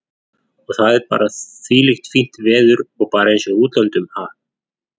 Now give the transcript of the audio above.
Og það er þvílíkt fínt veður og bara eins og í útlöndum, ha?